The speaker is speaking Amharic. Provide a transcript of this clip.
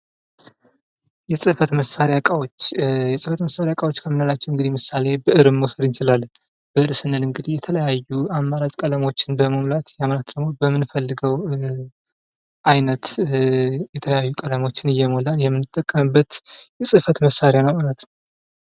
የጽፈት መሳሪያ እቃዎች ከምንላቸው ምሳሌ ብዕርን መውሰድ እንችላለን። ብዕር ስንል እንግዲህ የተለያዩ አማራጭ ቀለሞችም በመሙላት በምንፈልገው አይነት የተለያዩ ቀለሞችን እየሞላን የምንጠቀምበት የጽፈት መሳሪያ ነው ማለት ነው።